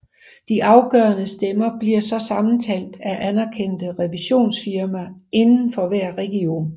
De afgørende stemmer bliver så sammentalt af anerkendte revisionsfirmaer inden for hver region